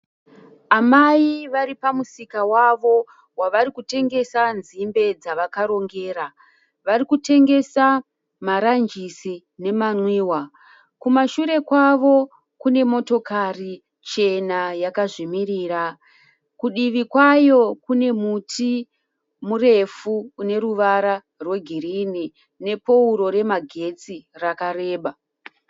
Amai vari pamusika wavo wavari kutengesa nzimbe dzavakarongera. Vari kutengesa maranjisi nemanwiwa. Kumashure kwavo kune motikari chena yakazvimirira. Kudivi kwayo kune muti murefu une ruvara rwegirini nepouro remagetsi rakareba.